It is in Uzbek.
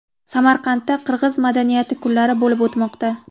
Samarqandda qirg‘iz madaniyati kunlari bo‘lib o‘tmoqda.